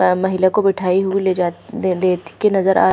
अ महिला को मिठाई हु ले जा ले लेत के नज़र आ --